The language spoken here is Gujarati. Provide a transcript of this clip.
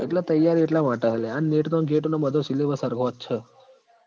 એટલ તૈયારી એટલા માટે હ લ્યા આ NET નો ન GATE નો બધો syllabus હરખો જ સ